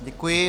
Děkuji.